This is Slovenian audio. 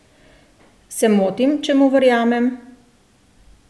Se motim, če mu verjamem?